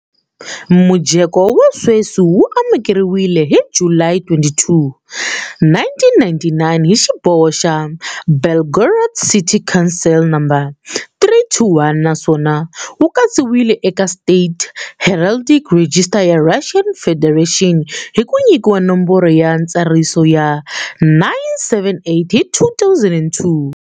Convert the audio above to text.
Mujeko wa sweswi wu amukeriwile hi July 22, 1999 hi xiboho xa Belgorod City Council No. 321 naswona wu katsiwile eka State Heraldic Register ya Russian Federation hi ku nyikiwa nomboro ya ntsariso ya 978 hi 2002.